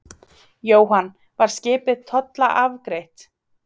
Jóhann: Var skipið tollafgreitt?